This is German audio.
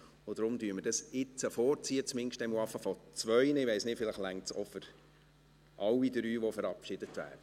Deshalb ziehen wir dies jetzt vor, zumindest einmal zwei, vielleicht reicht die Zeit auch für alle drei, die verabschiedet werden.